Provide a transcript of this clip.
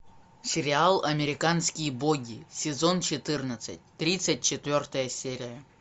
сериал американские боги сезон четырнадцать тридцать четвертая серия